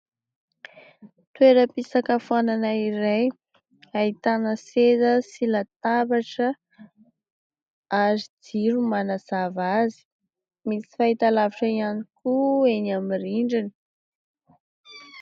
Toera-pisakafoanana iray ahitana seza sy latabatra ary jiro manazava azy, misy fahitalavitra ihany koa eny amin'ny rindrina.